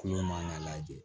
Kulo man ka lajɛ